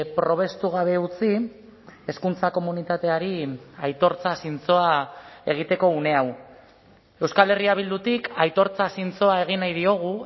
probestu gabe utzi hezkuntza komunitateari aitortza zintzoa egiteko une hau euskal herria bildutik aitortza zintzoa egin nahi diogu